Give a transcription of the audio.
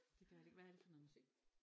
Det gør det ikke hvad er det for noget musik?